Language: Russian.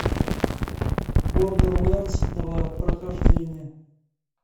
бордерлендс два прохождение